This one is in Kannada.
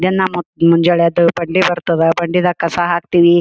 ದಿನ ಮುಂಜಾನ ಬಂಡಿ ಬರ್ತಾವು ಬಂಡಿದಗ ಕಸ ಹಾಕ್ತಿವಿ .